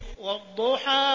وَالضُّحَىٰ